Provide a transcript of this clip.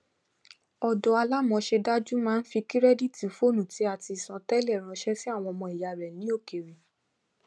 ọdó alámọṣẹdájú máa ń fi kirẹditi fóònù tí a ti san tẹlẹ ránṣẹ sí àwọn ọmọ ìyá rẹ ni òkèèrè